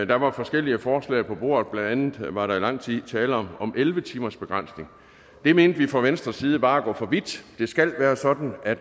der var forskellige forslag på bordet blandt andet var der i lang tid tale om elleve timersbegrænsning det mente vi fra venstres side var at gå for vidt det skal være sådan at